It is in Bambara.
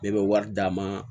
Ne bɛ wari d'a ma